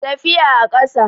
tafiya a ƙasa